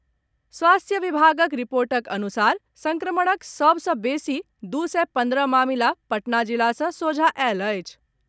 स्वास्थ्य विभागक रिपोर्टक अनुसार संक्रमणक सभ सॅ बेसी दू सय पंद्रह मामिला पटना जिला सॅ सोझा आयल अछि।